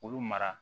K'olu mara